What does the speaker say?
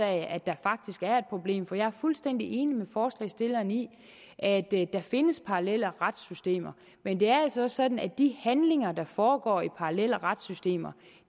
at der faktisk er et problem for jeg er fuldstændig enig med forslagsstillerne i at der findes parallelle retssystemer men det er altså også sådan at de handlinger der foregår i parallelle retssystemer